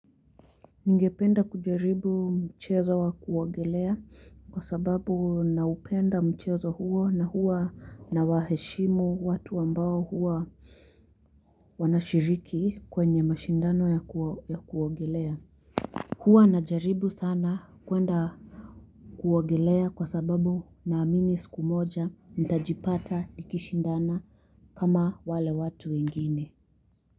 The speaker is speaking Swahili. Ningependa kujaribu mchezo wa kuogelea kwa sababu na upenda mchezo huo na huwa na waheshimu watu ambao huwa wanashiriki kwenye mashindano ya kuwagilea huwa najaribu sana kwenda kuogelea kwa sababu naamini siku moja nitajipata nikishindana kama wale watu wengine.